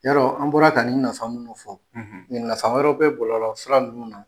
Yarɔ an bɔra ka nin nafa minnu fɔ nafa wɛrɛ bɛ bɔlɔlɔsira ninnu na.